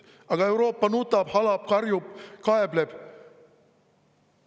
Aga Euroopa nutab, halab, karjub ja kaebleb.